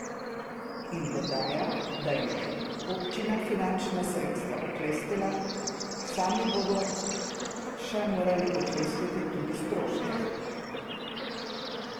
In dodaja, da jim je občina finančna sredstva oklestila, sami bodo še morali oklestiti tudi stroške.